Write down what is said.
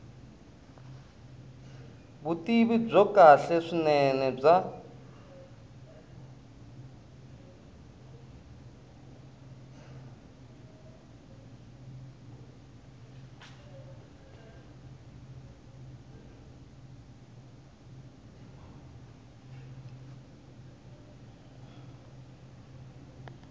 vutivi byo kahle swinene bya